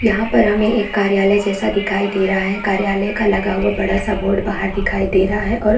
यहाँ पर हमें कार्यालय जैसा दिखाई दे रहा है कार्यालय का लगा हुआ बड़ा सा बोर्ड लगा हुआ बाहर दिखाई दे रहा है और --